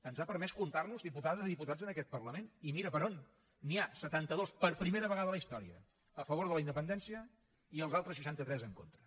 ens ha permès comptarnos diputades i diputats en aquest parlament i mira per on n’hi ha setantados per primera vegada a la història a favor de la independència i els altres seixantatres en contra